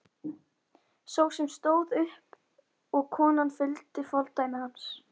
Sá sem fór stóð upp og konan fylgdi fordæmi hans.